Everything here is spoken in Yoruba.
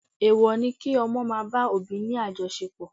Èèwọ̀ ni kí ọmọ máa bá òbí ni àjọṣepọ̀